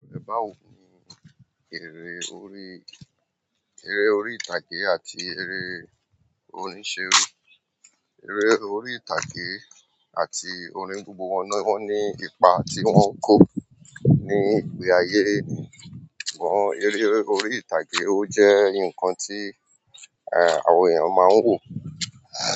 Báwo ni eré orí, eré orí ìtàgé àti eré orin serí. Eré orí ìtàgé àti orín wọn ní, wọ́n ní ipa tí wọ́n ń kó ní ìpè ayé. Wọ́n eré orí ìtàgé ó jẹ́ nǹkan tí, eh, àwọn èèyàn máa ń wò.